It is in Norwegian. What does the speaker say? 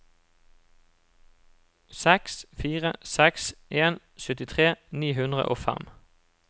seks fire seks en syttitre ni hundre og fem